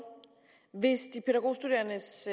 hvis de pædagogstuderendes